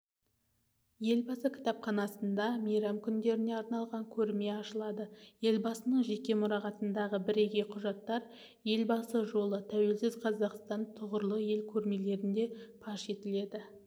елбасы кітапханасында мейрам күндеріне арналған көрме ашылады елбасының жеке мұрағатындағы бірегей құжаттар елбасы жолы тәуелсіз қазақстан тұғырлы ел көрмелерінде паш етіледі